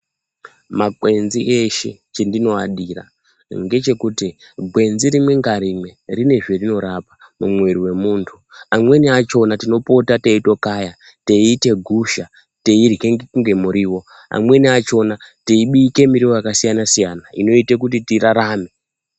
Makwenzi eshe chendinomadira ndechekuti gwenzi rimwe ngarimwe rinezverinorapa mumwiri mwe muntu amweni achona tinopota teitokaya teitoite gusha teirwe ngemutiwo amweni achona teibika miriwo yakasiyana siyana inoite kuti tirarame.